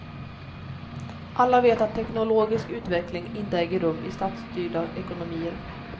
Alla vet att teknologisk utveckling inte äger rum i statsstyrda ekonomier.